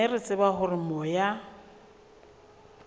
mme re tshepa hore moya